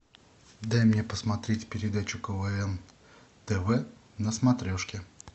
дай мне посмотреть передачу квн тв на смотрешке